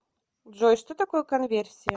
джой что такое конверсия